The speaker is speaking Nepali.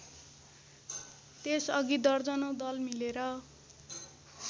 त्यसअघि दर्जनौं दल मिलेर